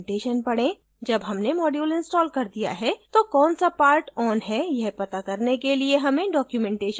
जब हमने module install कर दिया है तो कौन सा parts on है यह पता करने के लिए हमें documentation पढना चाहिए